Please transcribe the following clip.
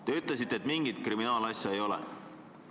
Te ütlesite, et mingit kriminaalasja ei ole.